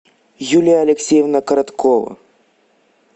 юлия алексеевна короткова